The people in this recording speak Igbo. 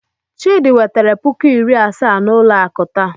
Chidi wetere puku iri asaa n'ụlọ akụ taa.